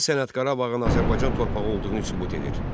Hansı sənəd Qarabağın Azərbaycan torpağı olduğunu sübut edir?